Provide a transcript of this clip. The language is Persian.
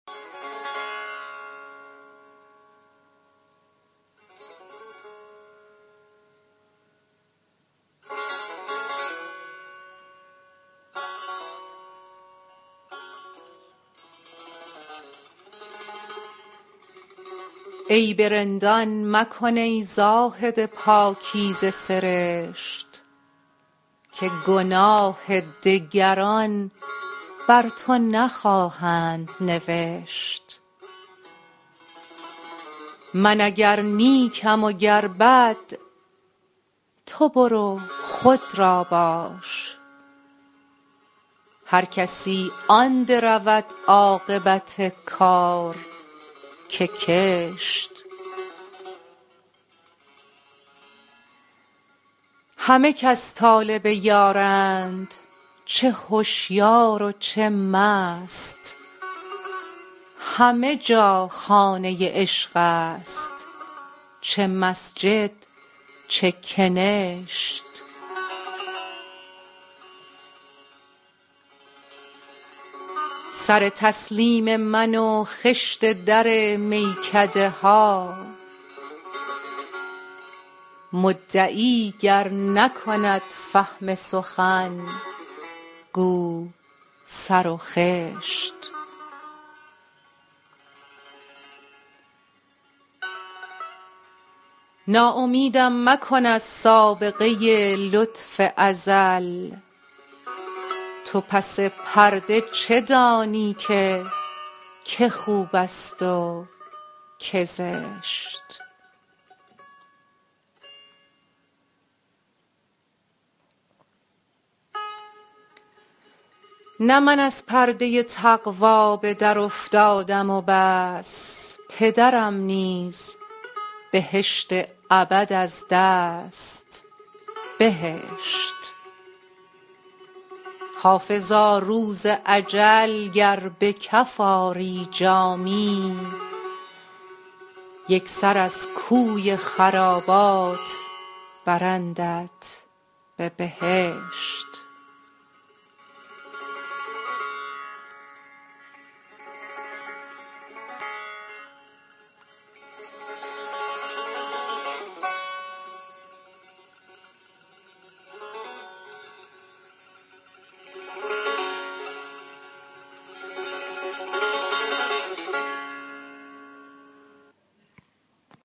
عیب رندان مکن ای زاهد پاکیزه سرشت که گناه دگران بر تو نخواهند نوشت من اگر نیکم و گر بد تو برو خود را باش هر کسی آن درود عاقبت کار که کشت همه کس طالب یارند چه هشیار و چه مست همه جا خانه عشق است چه مسجد چه کنشت سر تسلیم من و خشت در میکده ها مدعی گر نکند فهم سخن گو سر و خشت ناامیدم مکن از سابقه لطف ازل تو پس پرده چه دانی که که خوب است و که زشت نه من از پرده تقوا به درافتادم و بس پدرم نیز بهشت ابد از دست بهشت حافظا روز اجل گر به کف آری جامی یک سر از کوی خرابات برندت به بهشت